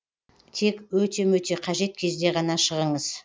тек өте мөте қажет кезде ғана шығыңыз